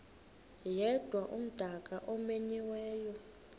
yedwa umdaka omenyiweyo